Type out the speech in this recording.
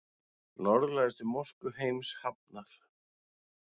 Norðlægustu mosku heims hafnað